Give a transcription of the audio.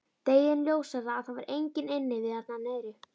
Deginum ljósara að það var enginn inni við þarna niðri.